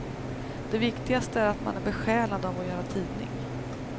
Det viktigaste är att man är besjälad av att göra tidning.